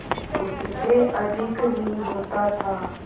उससे अधिक ही होता था